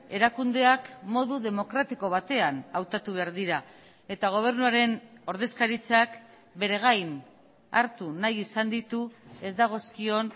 erakundeak modu demokratiko batean hautatu behar dira eta gobernuaren ordezkaritzak bere gain hartu nahi izan ditu ez dagozkion